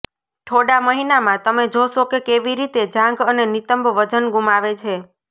થોડા મહિનામાં તમે જોશો કે કેવી રીતે જાંઘ અને નિતંબ વજન ગુમાવે છે